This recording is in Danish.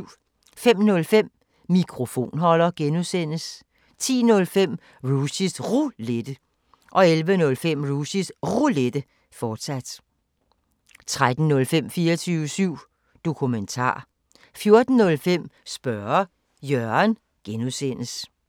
05:05: Mikrofonholder (G) 10:05: Rushys Roulette 11:05: Rushys Roulette, fortsat 13:05: 24syv Dokumentar 14:05: Spørge Jørgen (G)